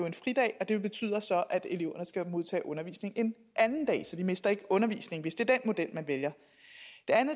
en fridag og det betyder så at eleverne skal modtage undervisning en anden dag så de mister ikke undervisning hvis det er den model man vælger